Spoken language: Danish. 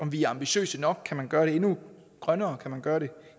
vi er ambitiøse nok kan man gøre det endnu grønnere kan man gøre det